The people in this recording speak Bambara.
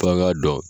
F'an k'a dɔn